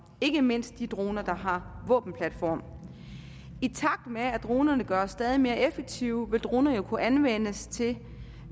ikke mindst de droner der har våbenplatform i takt med at dronerne gøres stadig mere effektive vil droner jo kunne anvendes til